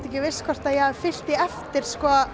ekki viss hvort ég hafi fylgt því eftir